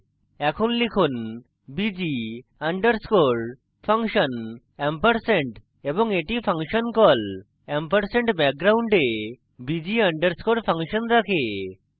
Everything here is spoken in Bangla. এখন লিখুন bg underscore function & এটি হল function call & background bg underscore function রাখে